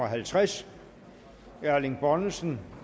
halvtreds erling bonnesen